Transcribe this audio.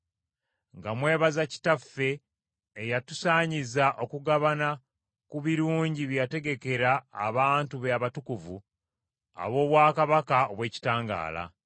nga mwebaza Kitaffe eyatusaanyiza okugabana ku birungi bye yategekera abantu be abatukuvu ab’obwakabaka obw’ekitangaala.